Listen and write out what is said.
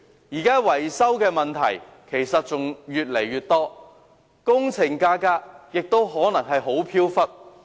現時出現的維修問題越來越多，工程價格亦可能相當飄忽。